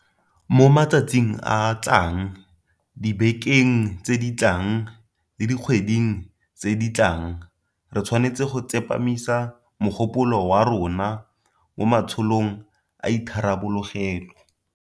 Mo matsatsing a a tlang, dibekeng tse di tlang le dikgweding tse di tlang re tshwanetse go tsepamisa mogopolo wa rona mo ma tsholong a itharabologelo.